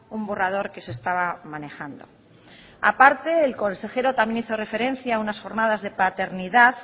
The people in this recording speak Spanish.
un borrador que se estaba manejando a parte el consejero también hizo referencia a unas jornadas de paternidad